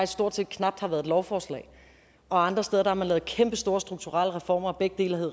stort set knap har været et lovforslag og andre steder har man lavet kæmpestore strukturelle reformer og begge dele har